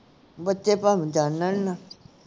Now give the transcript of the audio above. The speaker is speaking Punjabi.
ਬੱਚੇ ਭਵਾਂਦੀ ਜਾਨਣ ਨਾ